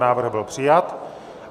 Návrh byl přijat.